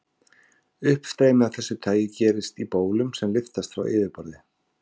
Uppstreymi af þessu tagi gerist í bólum sem lyftast frá yfirborði.